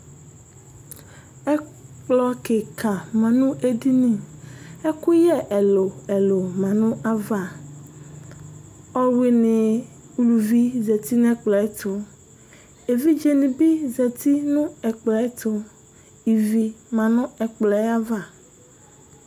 Ɛkplɔ kìka manʋ ɛɖinì Ɛkʋyɛ ɛlu ɛlu manʋ ava Ɔlʋwiní uluvi zɛtinʋ ɛkplɔɛtu Evidze ŋíbi zɛtinʋ ɛkplɔtu Ívì manʋ ɛkplɔɛ ayʋava